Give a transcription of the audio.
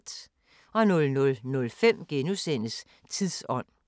00:05: Tidsånd *